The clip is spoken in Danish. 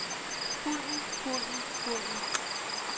hunden hunden hunden